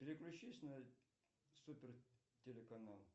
переключись на супер телеканал